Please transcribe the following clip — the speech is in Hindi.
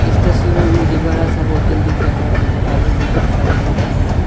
इस तस्वीर में मुझे बड़ा सा होटल दिख रहा है जहां में बहुत सारे लोग भी हैं।